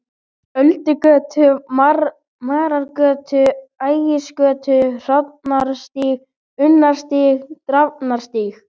Öldugötu, Marargötu, Ægisgötu, Hrannarstíg, Unnarstíg, Drafnarstíg.